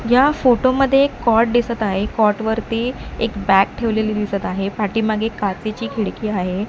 या फोटो मध्ये एक कॉट दिसत आहे कॉट वरती एक बॅग ठेवलेली दिसत आहे पाठीमागे काचेची खिडकी आहे.